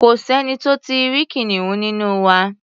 Kò sẹ́ni tó tí ì rí kìnìún nínú wa.